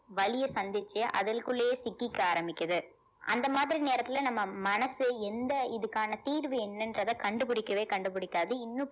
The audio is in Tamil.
வலியை சந்திச்சு அதல்குள்ளேயே சிக்கிக்க ஆரம்பிக்குது அந்த மாதிரி நேரத்துல நம்ம மனசு எந்த இதுக்கான தீர்வு என்னன்றதை கண்டுபிடிக்கவே கண்டுபிடிக்காது இன்னும்